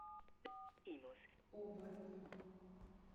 оборотни